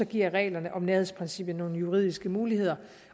giver reglerne om nærhedsprincippet nogle juridiske muligheder